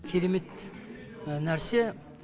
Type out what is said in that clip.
керемет нәрсе